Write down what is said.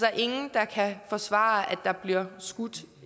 er ingen der kan forsvare at der bliver skudt